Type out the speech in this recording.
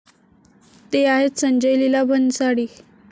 ते आहेत संजय लीला भन्साळी.